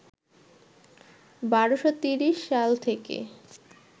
১২৩০ সাল থেকে